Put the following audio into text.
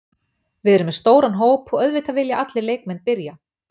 Við erum með stóran hóp og auðvitað vilja allir leikmenn byrja.